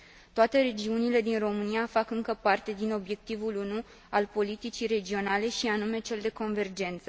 Toate regiunile din România fac încă parte din obiectivul unu al politicii regionale, și anume cel de convergență.